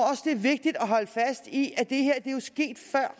vigtigt at holde fast i at det her jo er sket før